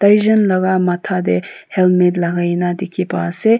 Tai jun la kha matha tai helmate lakai kena dekhe bhai ase.